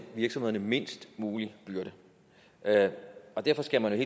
virksomhederne mindst mulig byrde og derfor skal man